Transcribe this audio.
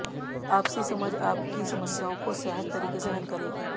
आपसी समझ आपकी समस्याओं को सहज तरीके से हल करेगी